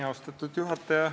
Austatud juhataja!